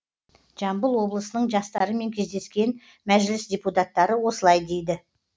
жамбыл облысының жастарымен кездескен мәжіліс депутаттары осылай дейді